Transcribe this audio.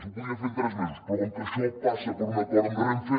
ho podrien fer en tres mesos però com que això passa per un acord amb renfe